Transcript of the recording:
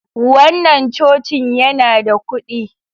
Wannan Cocin yana da kudi.